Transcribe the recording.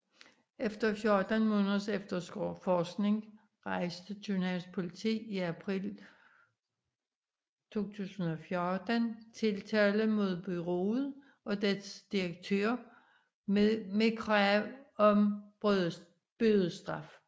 Efter 14 måneders efterforskning rejste Københavns Politi i april 2014 tiltale mod bureauet og dets direktør med krav om bødestraf